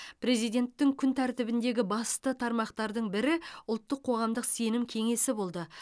президенттің күн тәртібіндегі басты тармақтардың бірі ұлттық қоғамдық сенім кеңесі болды